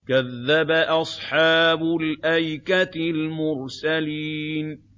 كَذَّبَ أَصْحَابُ الْأَيْكَةِ الْمُرْسَلِينَ